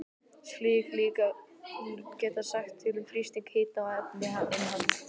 Slík líkön geta sagt til um þrýsting, hita og efnainnihald.